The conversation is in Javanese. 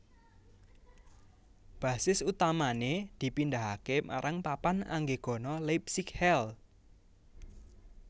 Basis utamané dipindahaké marang Papan Anggegana Leipzig Halle